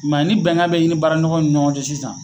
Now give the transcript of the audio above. I ma ye, ni bɛnkan bɛ ɲini baara ɲɔgɔn ɲɔgɔn cɛ sisan.